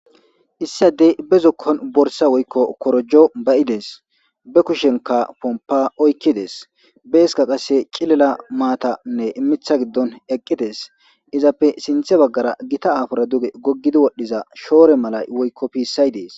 issi adey be zokkon borsa woykko korojo ba'ides be kushenka pompa oykkides beeska qasse cilela maatanne imitha giddon eqqides izappe sinthe baggara gita aafora duge goggidi wodhdhiza shoore malay woykko piissay dees